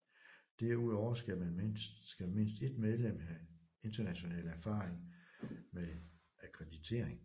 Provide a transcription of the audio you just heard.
Derudover skal mindst et medlem have international erfaring med akkreditering